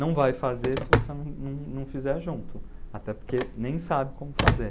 Não vai fazer se você não não não fizer junto, até porque nem sabe como fazer.